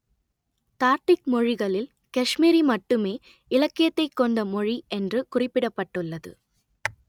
தார்டிக் மொழிகளில் காஷ்மீரி மட்டுமே இலக்கியத்தைக் கொண்ட மொழி என்று குறிப்பிடப்பட்டுள்ளது